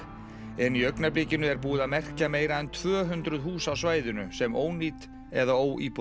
en í augnablikinu er búið að merkja meira en tvö hundruð hús á svæðinu sem ónýt eða